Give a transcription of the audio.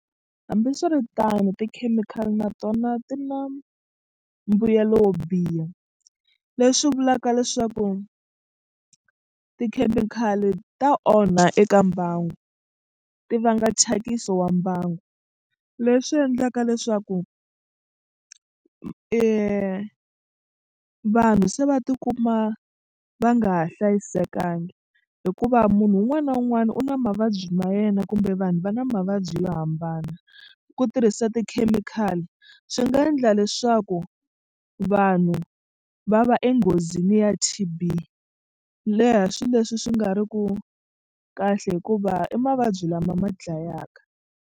Hambiswiritano tikhemikhali na tona ti na mbuyelo wo biha leswi vulaka leswaku tikhemikhali ta onha eka mbangu ti vanga thyakiso wa mbangu leswi endlaka leswaku vanhu se va tikuma va nga ha hlayisekangi hikuva munhu un'wana na un'wana u na mavabyi ma yena kumbe vanhu va na mavabyi yo hambana ku tirhisa tikhemikhali swi nga endla leswaku vanhu va va enghozini ya T_B leha swilo leswi swi nga ri ku kahle hikuva i mavabyi lama ma dlayaka.